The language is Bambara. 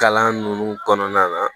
Kalan ninnu kɔnɔna na